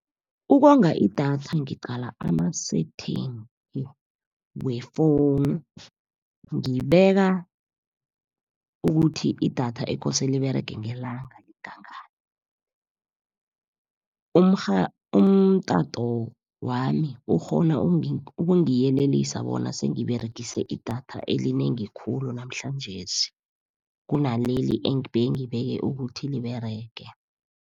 Ukonga idatha ngiqala ama-setting wefowunu. Ngibeka ukuthi idatha ekose liberege ngelanga lingangani. Umtato wami ukghona ukungiyelelisa bona sengiberegise idatha elinengi khulu namhlanjesi, kunaleli ebengibeke ukuthi liberege.